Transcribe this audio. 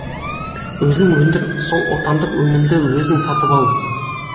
өзің өндір сол отандық өнімді өзің сатып ал